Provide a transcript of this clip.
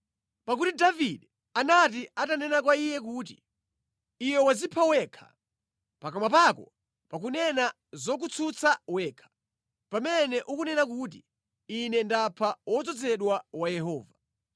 Pakuti Davide anali atanena kwa iye kuti, “Iwe wadzipha wekha. Pakamwa pako pakunena zokutsutsa wekha, pamene unanena kuti, ‘Ine ndapha wodzozedwa wa Yehova.’ ”